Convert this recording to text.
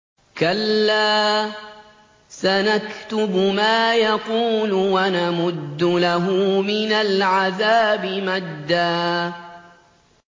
كَلَّا ۚ سَنَكْتُبُ مَا يَقُولُ وَنَمُدُّ لَهُ مِنَ الْعَذَابِ مَدًّا